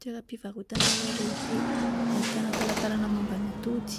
Toeram-pivarotana iray lehibe ahitana talantalana momba ny atody.